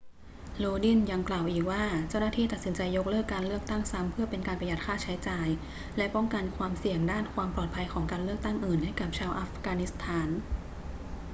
lodin ยังกล่าวอีกว่าเจ้าหน้าที่ตัดสินใจยกเลิกการเลือกตั้งซ้ำเพื่อเป็นการประหยัดค่าใช้จ่ายและป้องกันความเสี่ยงด้านความปลอดภัยของการเลือกตั้งอื่นให้กับชาวอัฟกานิสถาน